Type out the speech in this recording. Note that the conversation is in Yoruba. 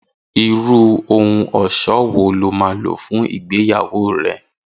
Irú ohun ọ̀ṣọ́ wo ni o máa lò fún ìgbéyàwó rẹ